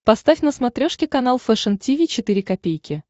поставь на смотрешке канал фэшн ти ви четыре ка